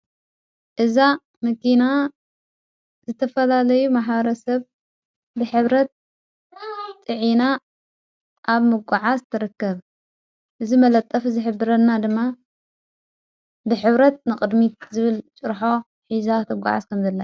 እዛ መኪና ዝተፈላለዩ ማሕበረ ሰብ ብሕብረት ፅዒና ኣብ ምጐዓዝ ትረከብ እዝ መለጠፍ ዘሕብረና ድማ ብሕብረት ንቕድሚት ዝብል ጭርሖ ሕዛ ትጓዓስ ከም ዘላ እዩ።